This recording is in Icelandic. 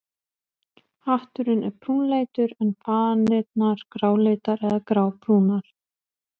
Hatturinn er brúnleitur en fanirnar gráleitar eða grábrúnar.